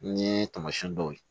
N ye taamasiyɛn dɔw ye